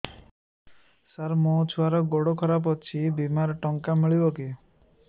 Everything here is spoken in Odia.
ସାର ମୋର ଛୁଆର ଗୋଡ ଖରାପ ଅଛି ବିମାରେ ଟଙ୍କା ମିଳିବ କି